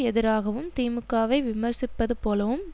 எதிராகவும் திமுகவை விமர்சிப்பதுபோலவும்